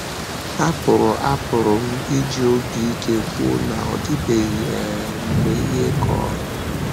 Apụrụ Apụrụ m iji obi ike kwuo na ọ dịbeghị um mgbe ihe kọrọ m.